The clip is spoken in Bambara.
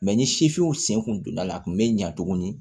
ni sifinw sen kun donna la a kun be ɲɛ tuguni